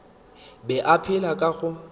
be a phela ka go